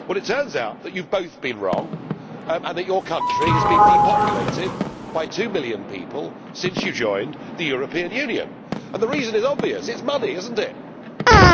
It turns out that you have both been wrong and that your country has been depopulated by two million people since you joined the European Union. The reason is obvious. It is money, is it not?